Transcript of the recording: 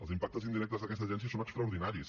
els impactes indirectes d’aquesta agència són extraordinaris